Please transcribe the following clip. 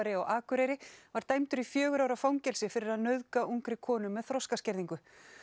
á Akureyri var dæmdur í fjögurra ára fangelsi fyrir að nauðga ungri konu með þroskaskerðingu